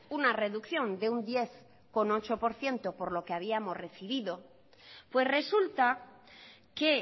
una reducción de diez coma ocho por ciento por lo que habíamos recibido pues resulta que